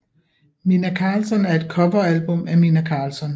Minnah Karlsson er et coveralbum af Minnah Karlsson